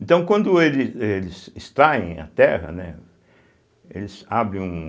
Então quando ele eles extraem a terra, né, eles abrem um...